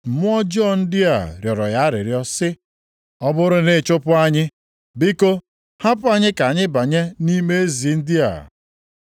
Mmụọ ọjọọ ndị a rịọrọ ya arịrịọ sị, “Ọ bụrụ na ị chụpụ anyị, biko, hapụ anyị ka anyị banye nʼime ezi ndị a.”